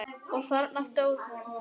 Og þarna stóð hún.